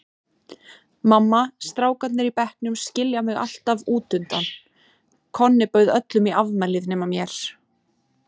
Mamma, strákarnir í bekknum skilja mig alltaf útundan, Konni bauð öllum í afmælið nema mér.